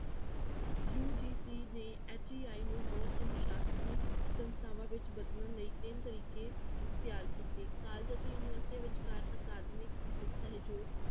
UGC ਦੇ HEI ਨੂੰ ਬਹੁ ਅਨੁਸਾਸਨੀ ਸੰਸਥਾਵਾਂ ਵਿੱਚ ਬਦਲਣ ਲਈ ਤਿੰਨ ਤਰੀਕੇ ਤਿਆਰ ਕੀਤੇ college ਅਤੇ ਯੂਨੀਵਰਸਟੀਆਂ ਵਿਚਕਾਰ ਅਕਾਦਮਿਕ ਸਹਿਯੋਗ